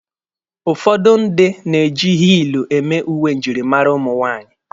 Ụfọdụ ndị na-eji hiilụ eme uwe njirimara ụmụ nwaanyị.